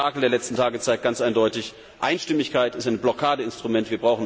Das Spektakel der letzten Tage zeigt ganz eindeutig Einstimmigkeit ist ein Blockadeinstrument.